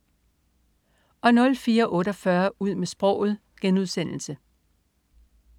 04.48 Ud med sproget*